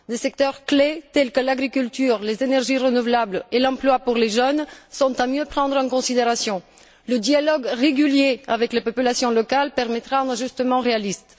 Les secteurs clés, tels que l'agriculture, les énergies renouvelables et l'emploi des jeunes sont à mieux prendre en considération. Le dialogue régulier avec les populations locales permettra un ajustement réaliste.